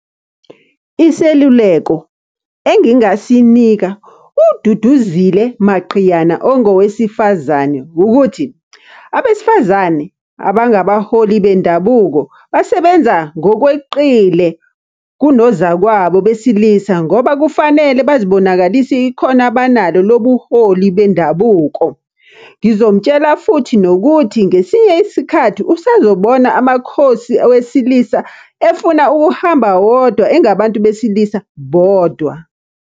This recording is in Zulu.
Iseluleko engingasinika uDuduzile Maqhiyana ongowesifazane ukuthi, abesifazane abangabaholi bendabuko, basebenza ngokweqile kunozakwabo besilisa ngoba kufanele bazibonakalise ikhono abanalo lobuholi bendabuko. Ngizomutshela futhi nokuthi ngesinye isikhathi usazobona amakhosi wesilisa efuna ukuhamba wodwa engabantu besilisa bodwa.